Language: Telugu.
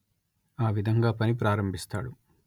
ఆ విధంగా పని ప్రారంభిస్తాడు